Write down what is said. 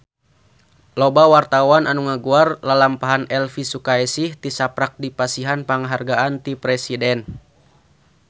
Loba wartawan anu ngaguar lalampahan Elvy Sukaesih tisaprak dipasihan panghargaan ti Presiden